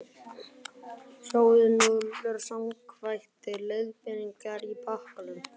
Sjóðið núðlurnar samkvæmt leiðbeiningum á pakkanum.